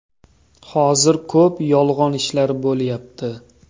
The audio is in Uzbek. Hozir ko‘p yolg‘on ishlar bo‘lyapti.